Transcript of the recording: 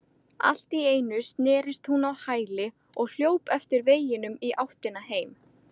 Allt í einu snerist hún á hæli og hljóp eftir veginum í áttina heim.